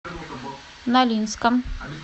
нолинском